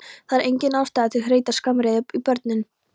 Það er engin ástæða til að hreyta skammaryrðum í börnin